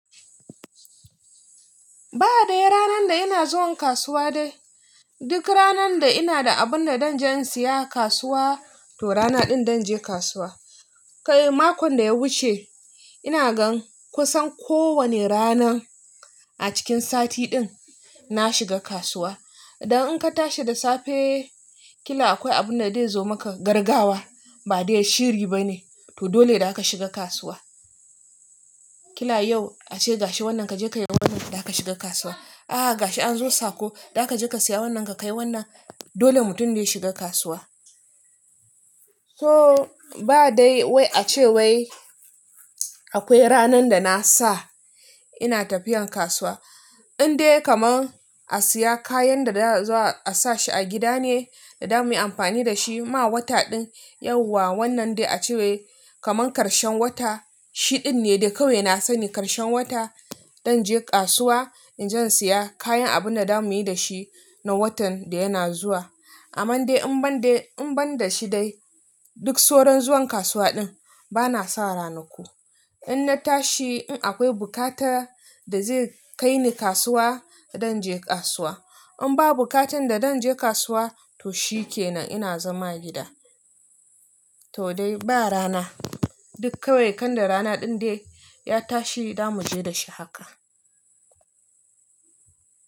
Ba dai ranan da ina zuwan kasuwa dai. Duk ranan da ina da abun da zan je in siya kasuwa, to rana din zan je kasuwa. Kai makon da ya wuce ina gan kusan ko wane rana a cikin sati din na shiga kasuwa. Dan in ka tashi da safe kila akwai abun da zai zo maka gargawa ba dai shiri bane to dole da zaka shiga kasuwa. Kila yau ace gashi wannan ka je ka yi wannan da aka shiga kasuwa. Aha gashi an zo sako da aka je ka siya wannan ka kai wannan dole mutum dai shiga kasuwa. So ba dai wai ace wai akwai ranan da na sa ina tafiyan kasuwa. In dai kaman a siya kayan da za a sa shi a gida ne da zamuyi amfani da shi ma wata din yauwa wannan dai ace wai kaman karshen wata, shi din ne dai kawai na sani karshen wata zan je kasuwa in zan siya kayan abun da zamuyi dashi na watan da yana zuwa. Aman dai in ban dai, in ban da shi dai duk soran zuwan kasuwa din bana sa rana ku. In na tashi in akwai bukata da zai kai ni kasuwa dan je kasuwa. In ba bukatan da dan je kasuwa to shikenan ina zama gida. To dai ba rana, duk kawai kanda rana din dai ya tashi zamu je da shi haka.